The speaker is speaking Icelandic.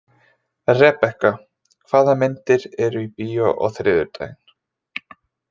Rebekka, hvaða myndir eru í bíó á þriðjudaginn?